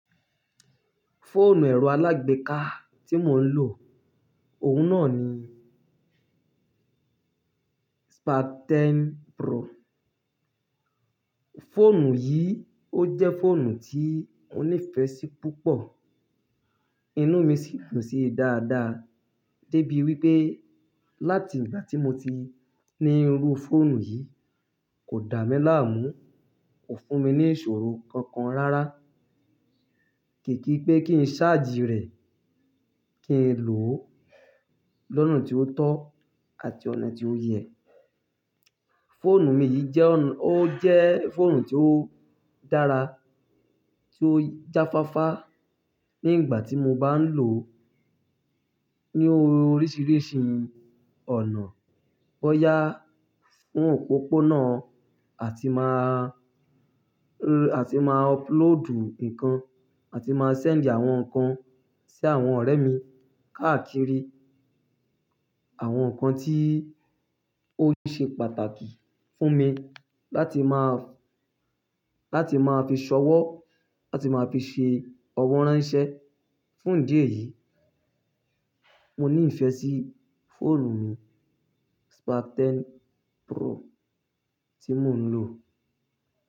Fóònù ẹ̀rọ alágbèéká tí mò ń lò, òun náà ni Spark 10 Pro. Fóònù yìí, ó jẹ́ fóònù tí mo nífẹ̀ẹ́ sí púpọ̀. Inú mi sì dùn sí dáadáa dé bí wí pé láti ìgbà tí mo ti ní irú fóònù yìí, kò dà mí láàmú, kò fún mi ní ìṣòro kankan rárá. Kìkì pé kí n ṣáàjì rẹ̀, kí n lò ó lọ́nà tí ó tọ́ àti ọ̀nà tí ó yẹ. Fóònù mi yìí jẹ́ ọ̀n, ó jẹ́ fóònù tí ó dára, tí ó jáfáfá ní ìgbà tí mo bá ń lò ó ní oríṣiríṣi ọ̀nà. Bọyá fún òpópónà àti máa ro-- àti máa upload nǹkan àti máa send àwọn nǹkan sí àwọn ọ̀rẹ́ mi. Káàkiri àwọn nǹkan tí ó ṣe pàtàkì fún mi láti máa, láti máa fi ṣọwọ́, láti máa fi ṣe ọwọ́ ránṣẹ́. Fún ìdí èyí, mo ní ìfẹ́ sí fóònù mi Spark ten Pro tí mò ń lò.